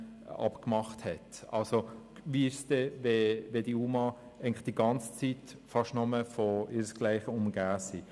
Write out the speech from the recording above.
Wie ist es dann, wenn die UMA beinahe die ganze Zeit über fast nur von ihresgleichen umgeben sind?